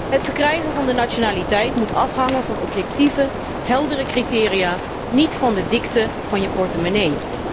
Het verkrijgen van de nationaliteit moet afhangen van objectieve, heldere criteria, niet van de dikte van je portemonnee.